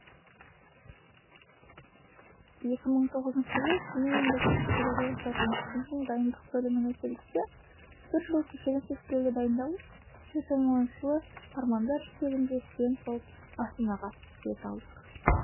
екі мың тоғызыншы жылы семей мемлекеттік педагогикалық институтының дайындық бөліміне келдік те бір жыл кешенді тестілеуге дайындалып екі мың оныншы жылы армандар жетегінде студент болып астанаға бет алдық